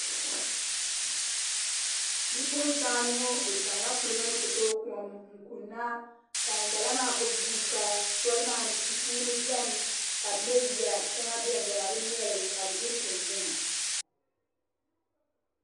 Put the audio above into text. Bipuɣunsi anu ŋo bi chɛŋla kuligi ni ti tooi kom n kunna ka ŋunbala maa gbuni guuka soli maa ni tia kuuni biɛni ka bi mɛ yiya shɛŋa biɛni bi na bi mɛli ka bi ʒiri kuni yiŋa